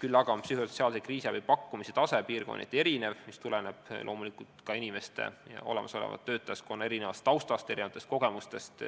Samas on psühhosotsiaalse kriisiabi pakkumise tase piirkonniti erinev, mis tuleneb loomulikult ka olemasoleva töötajaskonna erinevast taustast, erinevatest kogemustest